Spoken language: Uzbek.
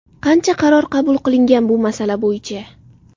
Qancha qaror qabul qilingan bu masala bo‘yicha?